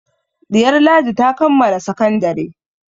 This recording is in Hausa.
Ɗiyar Ladi ta kammala sakandare.